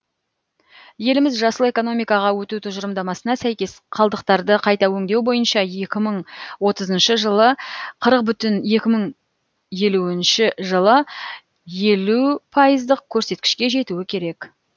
еліміз жасыл экономикаға өту тұжырымдамасына сәйкес қалдықтарды қайта өңдеу бойынша екі мың отызыншы жылы қырық бүтін екі мың елуінші жылы елу пайыздық көрсеткішке жетуі керек